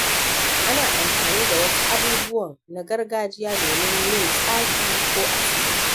Ana amfani da wasu abubuwan na gargajiya domin yin tsafi ko asiri.